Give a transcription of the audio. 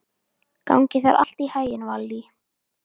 Gangi þér allt í haginn, Valý.